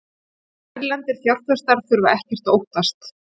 Erlendir fjárfestar þurfa ekkert að óttast